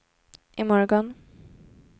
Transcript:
imorgon